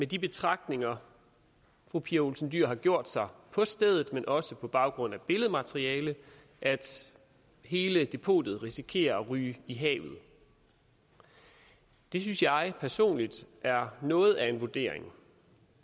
de betragtninger fru pia olsen dyhr har gjort sig på stedet men også på baggrund af billedmateriale at hele depotet risikerer at ryge i havet det synes jeg personligt er noget af en vurdering